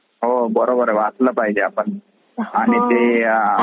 हो बरोबर , वाचला पाहजे आपण आणि ते.